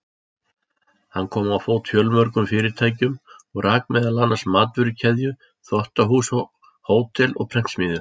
Hann kom á fót fjölmörgum fyrirtækjum og rak meðal annars matvörukeðju, þvottahús, hótel og prentsmiðju.